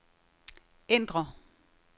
ændr